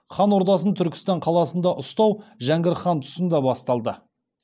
хан ордасын түркістан қаласында ұстау жәңгір хан тұсында басталды